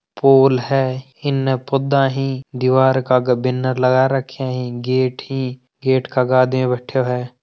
फूल है इने पोधा ही दीवार के आगे बैनर लगा राख्या है गेट ही का आगे एक आदमी बैठो है।